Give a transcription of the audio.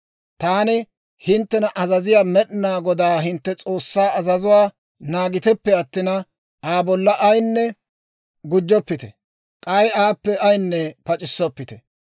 Taani hinttena azaziyaa Med'inaa Godaa hintte S'oossaa azazuwaa naagiteppe attina, Aa bolla ayinne gujjoppite; k'ay aappe ayinne pac'issoppite.